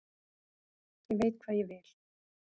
Ég veit hvað ég vil!